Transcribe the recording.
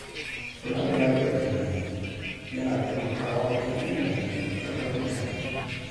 Kula da lafiyar tunani yana taimakawa wajen inganta dangantakar mutane.